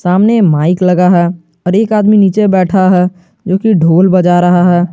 सामने माइक लगा है और एक आदमी नीचे बैठा है जोकि ढोल बजा रहा है।